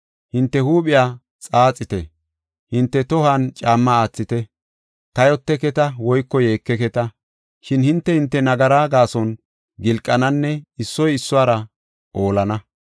Hinte huuphiya xaaxite; hinte tohuwan caamma aathite. Kayoteketa woyko yeekeketa. Shin hinte hinte nagaraa gaason gilqananne issoy issuwara oolana.